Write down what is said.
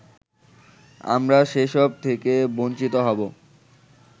আমরা সেসব থেকে বঞ্চিত হব